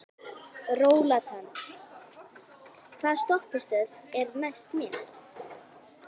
Rólant, hvaða stoppistöð er næst mér?